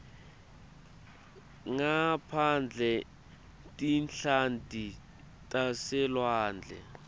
ngaphandle tinhlanti taselwandle